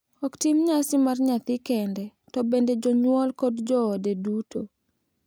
Ok tim nyasi mar nyathi kende, to bende jonyuol kod joode duto.